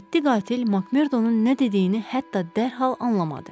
Yeddi qatil Makmerdonun nə dediyini hətta dərhal anlamadı.